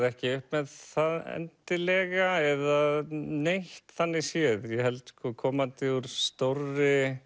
ekki upp með það endilega eða neitt þannig séð ég held sko komandi úr stórri